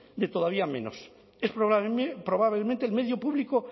de todavía menos es probablemente el medio público